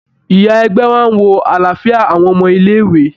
Ìyá ègbé máa ń wo àlàáfíà àwọn ọmọ ilé-ìwé.